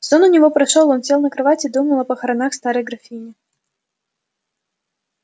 сон у него прошёл он сел на кровать и думал о похоронах старой графини